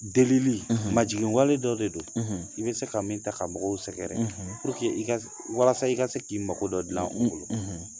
Delili, majiginwale dɔ de don, i bɛ se ka min ta ka mɔgɔw sɛgɛrɛ walasa i ka se k'i mago dɔ dilan u bolo